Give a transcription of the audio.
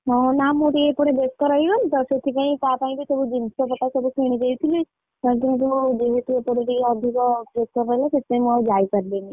ହଁ ନା ମୁଁ ଟିକେ ଏପଟେ ବେସ୍ତ ରହିଗଲି ତ ସେଥିପାଇଁ ତା ପାଇଁ କି ସବୁ ଜିନିଷପଟା କିଣିଦେଇଥିଲି ଟିକେ ଅଧିକ pressure ହେଲା ସେଥିପାଇଁ ମୁଁ ଆଉ ଯାଇପାରିଲିନି।